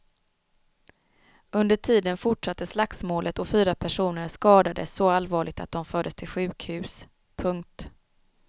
Under tiden fortsatte slagsmålet och fyra personer skadades så allvarligt att de fördes till sjukhus. punkt